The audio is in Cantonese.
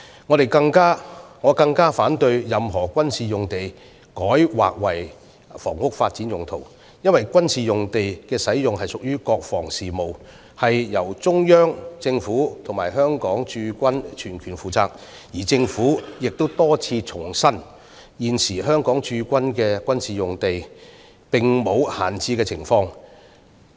我更反對把任何軍事用地改劃作房屋發展用途，因為軍事用地的使用屬國防事務，由中央政府與香港駐軍全權負責，而政府亦多次重申，現時香港駐軍的各個軍事用地並無閒置情況。